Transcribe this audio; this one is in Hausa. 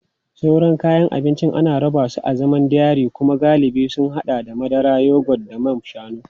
Sauran kayan abinci ana rarraba su a zaman dairy kuma galibi sun haɗa da madara, yogurt da man shanu.